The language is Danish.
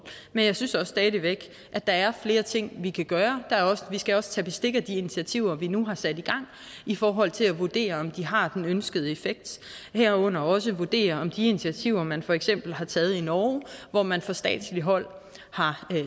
men jeg synes også stadig væk at der er flere ting vi kan gøre og vi skal også tage bestik af de initiativer vi nu har sat i gang i forhold til at vurdere om de har den ønskede effekt herunder også vurdere om de initiativer man for eksempel har taget i norge hvor man fra statsligt hold har